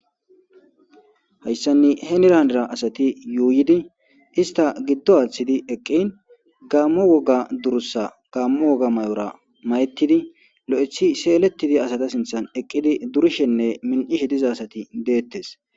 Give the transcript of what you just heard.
hayssanne henirandera asati yuuyidi ista giddo aaththidi eqqin gaammo woga durussa gammo woga may7ora mayettidi lo7ethi seelettidi asata sinthan eqqidi durishenne min7ishe diza asati deettes